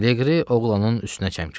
Leqri oğlanın üstünə çəmkirdi.